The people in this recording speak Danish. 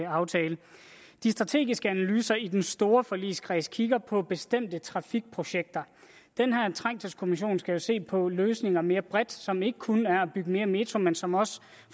aftale de strategiske analyser i den store forligskreds kigger på bestemte trafikprojekter den her trængselskommission skal jo se på løsninger mere bredt som ikke kun er at bygge mere metro men som også